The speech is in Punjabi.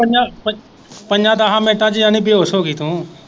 ਪੰਜਾਂ ਪੰ ਪੰਜਾਂ ਦਾਹਾਂ ਮਿੰਟਾਂ ਚ ਯਨੀ ਬੇਹੋਸ਼ ਹੋਗੀ ਤੂੰ।